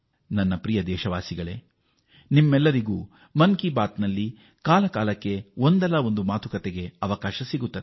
ನನ್ನ ದೇಶವಾಸಿಗಳೇ ನಿಮ್ಮೆಲ್ಲರಿಗೂ ಮನ್ ಕಿ ಬಾತ್ ನಲ್ಲಿ ಕಾಲಕಾಲಕ್ಕೆ ನಿಮ್ಮ ಅಭಿಪ್ರಾಯಗಳನ್ನು ವ್ಯಕ್ತಪಡಿಸಲು ಅವಕಾಶವಿದೆ